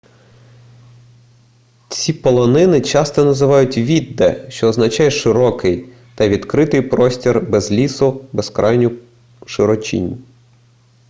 ці полонини часто називають vidde що означає широкий та відкритий простір без лісу безкрайню широчінь